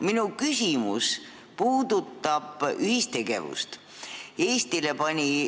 Minu küsimus puudutab ühistegevust.